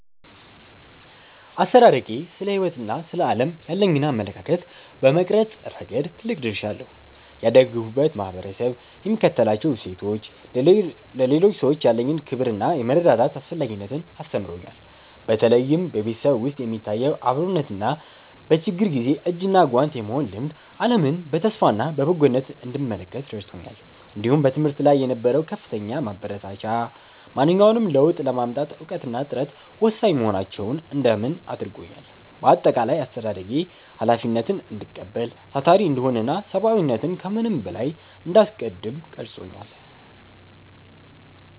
አስተዳደጌ ስለ ሕይወትና ስለ ዓለም ያለኝን አመለካከት በመቅረጽ ረገድ ትልቅ ድርሻ አለው። ያደግሁበት ማኅበረሰብ የሚከተላቸው እሴቶች፣ ለሌሎች ሰዎች ያለኝን ክብርና የመረዳዳት አስፈላጊነትን አስተምረውኛል። በተለይም በቤተሰብ ውስጥ የሚታየው አብሮነትና በችግር ጊዜ እጅና ጓንት የመሆን ልማድ፣ ዓለምን በተስፋና በበጎነት እንድመለከት ረድቶኛል። እንዲሁም በትምህርት ላይ የነበረው ከፍተኛ ማበረታቻ፣ ማንኛውንም ለውጥ ለማምጣት እውቀትና ጥረት ወሳኝ መሆናቸውን እንዳምን አድርጎኛል። በአጠቃላይ፣ አስተዳደጌ ኃላፊነትን እንድቀበል፣ ታታሪ እንድሆንና ሰብዓዊነትን ከምንም በላይ እንዳስቀድም ቀርጾኛል።